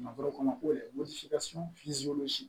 Makɔrɔ kɔnɔ ko dɛsɛ